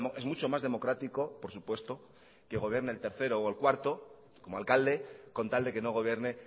es mucho más democrático por supuesto que gobierne el tercero o el cuarto como alcalde con tal de que no gobierne